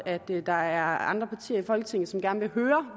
ved der er andre partier i folketinget som gerne vil høre